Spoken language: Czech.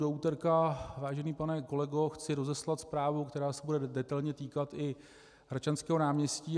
Do úterka, vážený pane kolego, chci rozeslat zprávu, která se bude detailně týkat i Hradčanského náměstí.